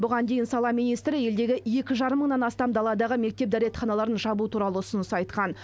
бұған дейін сала министрі елдегі екі жарым мыңнан астам даладағы мектеп дәретханаларын жабу туралы ұсыныс айтқан